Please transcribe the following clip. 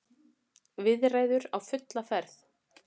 Viðræður á fulla ferð